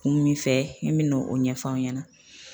Kun min fɛ i min'o o ɲɛfɔ an ɲɛna